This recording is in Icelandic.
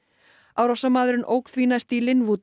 árásarmaðurinn ók því næst í